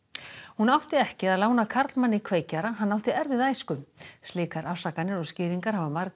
hún átti ekki að lána karlmanni kveikjara hann átti erfiða æsku slíkar afsakanir og skýringar hafa margir